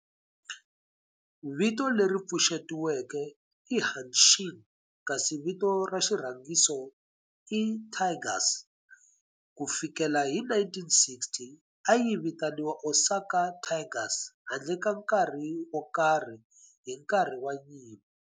Vito leri pfuxetiweke i Hanshin kasi vito ra xirhangiso i Tigers. Ku fikela hi 1960, a yi vitaniwa Osaka Tigers handle ka nkarhi wo karhi hi nkarhi wa nyimpi.